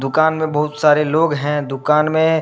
दुकान में बहुत सारे लोग है दुकान में --